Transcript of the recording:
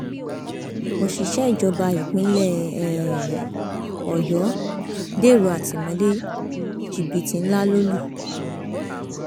òṣìṣẹ ìjọba ìpínlẹ um ọyọ dèrò àtìmọlé jìbìtì ńlá ló lù